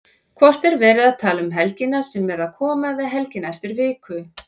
Hvort er verið að tala um helgina sem er að koma eða helgina eftir viku?